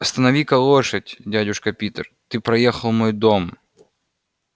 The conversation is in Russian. останови-ка лошадь дядюшка питер ты проехал мой дом